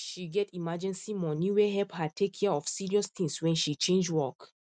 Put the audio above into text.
she get emergency money wey help her take care of serious things when she change work